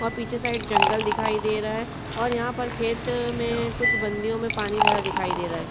वहा पीछे साइड में जंगल दिखाई दे रहा है और यहां पर खेत में कुछ बंधियो में पानी भरा दिखाई दे रहा है।